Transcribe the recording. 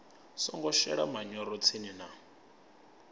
songo shelesa manyoro tsini na